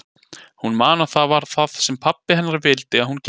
Hún man að það var það sem pabbi hennar vildi að hún gerði.